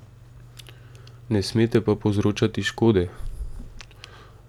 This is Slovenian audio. Ne smete pa povzročati škode.